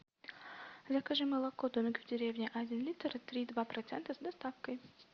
закажи молоко домик в деревне один литр три и два процента с доставкой